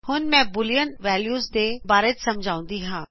ਹੁਣ ਮੈ boolean value ਦੇ ਬਾਰੇ ਸਮਝਾਉਂਦੀ ਹਾ